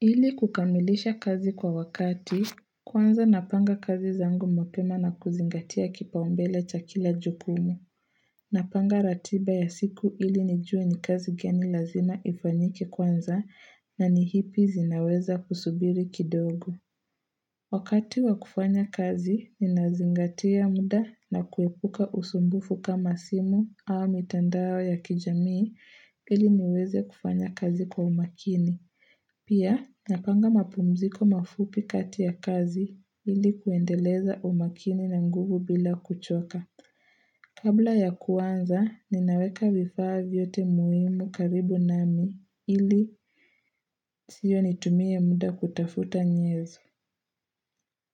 Ili kukamilisha kazi kwa wakati, kwanza napanga kazi zangu mapema na kuzingatia kipao mbele cha kila jukumu. Napanga ratiba ya siku ili nijue ni kazi gani lazima ifanyike kwanza na nii ipi zinaweza kusubiri kidogo. Wakati wa kufanya kazi, ninazingatia mda na kuepuka usumbufu kama simu au mitandao ya kijamii ili niweze kufanya kazi kwa umakini. Pia, napanga mapumziko mafupi kati ya kazi ili kuendeleza umakini na nguvu bila kuchoka. Kabla ya kuanza ninaweka vifaa vyote muhimu karibu namii ili siyo nitumie muda kutafuta nyezo.